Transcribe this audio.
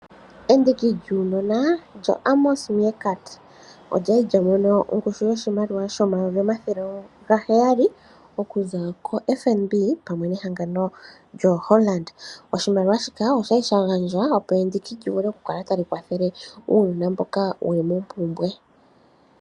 Endiki lyuunona lyoAmos Meerkat olyali lyamono ongushu yoshimaliwa $700000 okuza koFNB pamwe nehangano lyo Hollard opo endiki ndika lyikale tali kwathele uunona mboka wuli mopumbwe.